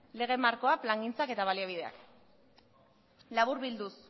lege markoa plangintzak eta baliabideak laburbilduz